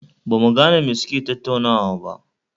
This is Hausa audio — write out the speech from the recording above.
Ba mu gane me suke tattaunawa ba